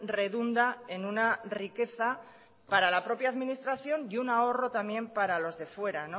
redunda en una riqueza para la propia administración y un ahorra también para los de fuera